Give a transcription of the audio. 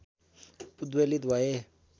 उद्वेलित भएँ